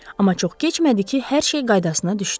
Amma çox keçmədi ki, hər şey qaydasına düşdü.